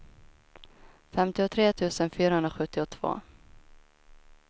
femtiotre tusen fyrahundrasjuttiotvå